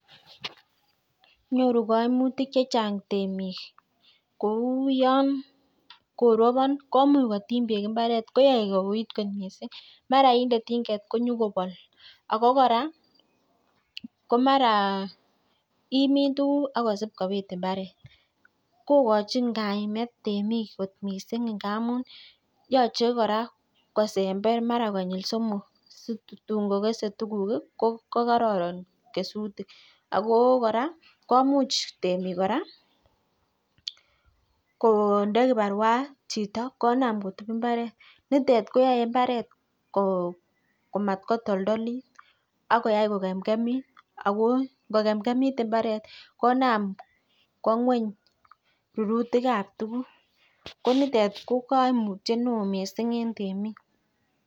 Nyoru kaimutik chechang temik. Kou yon koropon komuch kotim beek mbaret kouit kot mising. Mara inde tinget konyokopol. Ako kora ko mara imin tukuk akosip kipiit mbaret. Kokochin kaimet temik kot mising ngamun yochei kora ko sember mara konyil somok si tun kokesei tukuk ko kororon kesuik. Ako kora komuch temik kora konde kiparua chito konam kotup mbaret. Yutet koyoei mbaret komatoltolit akoyai kokemkemit. Ako ngokemkemit mbaret konam kowa ng'weny rurutikab tukuk ko nitet ko kaimutiet neo mising eng temik.